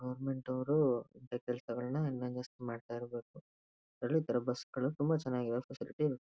Government ಅವ್ರು ಇಂತಹ ಕೆಲಸಗಳನ್ನ ಇನ್ನೊಂದ್ ಅಷ್ಟ್ ಮಾಡ್ತಾ ಇರ್ಬೇಕು. ತುಂಬಾ ಚೆನ್ನಾಗಿದೆ ಫೆಸಿಲಿಟಿ .--